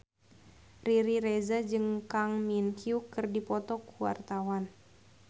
Riri Reza jeung Kang Min Hyuk keur dipoto ku wartawan